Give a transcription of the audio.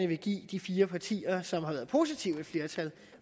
vil give de fire partier som har været positive et flertal